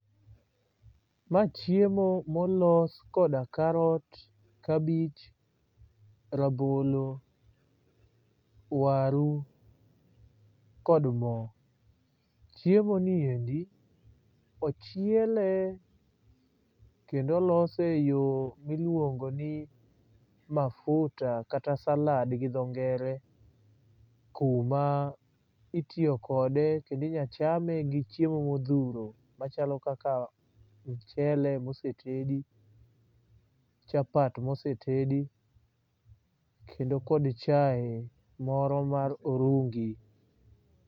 ma chiemo molos koda karot, kabich, rabolo ,waru kod moo. Chiemo ni endi ochiele kendo olose e yoo miluongo ni mafuta kata salad gi dho ngere kuma itiyo kode kendo inya chame gi chiemo modhuro machalo kaka mchele mosetedi, chapat mosetedi kendo kod chai moro mar orungi